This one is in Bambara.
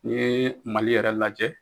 Ni ye Mali yɛrɛ lajɛ